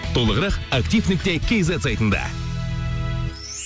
толығырақ актив нүкте кейзет сайтында